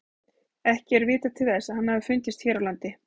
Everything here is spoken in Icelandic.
Ekki er vitað til þess að hann hafi fundist hér á landi.